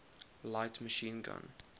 light machine gun